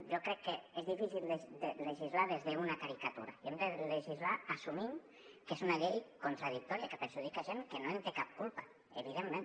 jo crec que és difícil de legislar des d’una caricatura i hem de legislar assumint que és una llei contradictòria que perjudica gent que no en té cap culpa evidentment